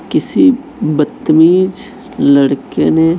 किसी बदतमीज लड़के ने--